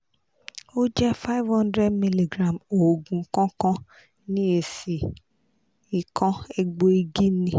o je five hundred mg oogun kankan ni esi ikan egboigi ni